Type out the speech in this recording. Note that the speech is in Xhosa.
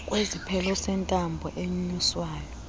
kwesiphelo sentambo enyuswayo